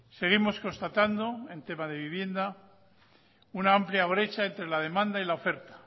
seguimos constatando en tema de vivienda una amplia brecha entre la demanda y la oferta